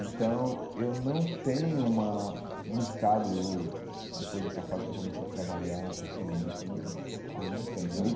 Então eu não tenho uma musicado ou, depois dessa fase que eu comecei a trabalhar profissionalmente mesmo, eu não tenho aí.